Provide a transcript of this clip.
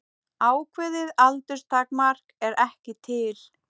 Ákveðið aldurstakmark er ekki til.